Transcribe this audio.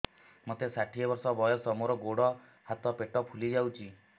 ମୋତେ ଷାଠିଏ ବର୍ଷ ବୟସ ମୋର ଗୋଡୋ ହାତ ପେଟ ଫୁଲି ଯାଉଛି